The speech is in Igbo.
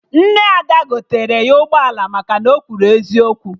Nne Ada gotere ya ụgbọala maka na o kwuru eziokwu